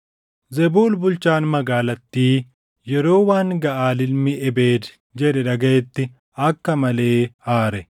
Zebul bulchaan magaalattii yeroo waan Gaʼaal ilmi Ebeed jedhe dhagaʼetti akka malee aare.